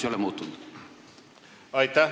Aitäh!